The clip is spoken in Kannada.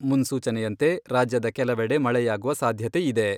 ಮುನ್ಸೂಚನೆಯಂತೆ ರಾಜ್ಯದ ಕೆಲವೆಡೆ ಮಳೆಯಾಗುವ ಸಾಧ್ಯತೆ ಇದೆ.